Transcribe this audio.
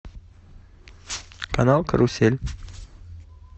канал карусель